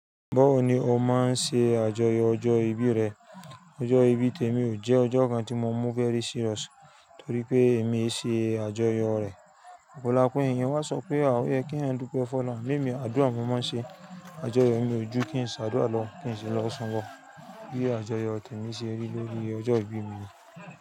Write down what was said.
Báwo ni o máa ń ṣe àjọyọ̀ ọjọ́ ìbí rẹ? Ọjọ́ ìbí Tèmí ò jẹ́ ọjọ́ kan tí mo mú very serious torí pé èmi ṣe àjọyọ̀ rẹ̀. Òpọ̀lọpọ̀ ènìyàn wá sọ pé àwọn ẹ kí wọ́n dúpẹ́ fún ọ. Ama emi, àdúrà mo máa ń ṣe àjọyọ̀ mi ojú kí n ṣe àdúrà lọ́wọ́ kí n sì lọ sun lo. Bí àjọyọ̀ Tèmí ṣe rí lórí ọjọ́ ìbí mi ni.